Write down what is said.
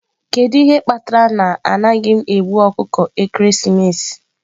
Kedu ihe kpatara na anaghị m egbu ọkụkọ ekeresimesi?